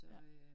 Ja